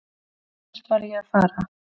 Hvert var ég að fara?